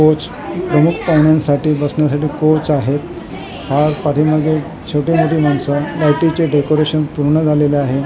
coach प्रमुख पाहुण्यांसाठी बसण्यासाठी कोच आहेत हा पाठीमागे छोटी मोठी माणसं लाईटीचे डेकोरेशन पूर्ण झालेले आहे छोटा ला --